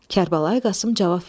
Kərbəlayı Qasım cavab verdi.